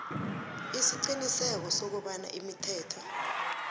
isiqiniseko sokobana imithetho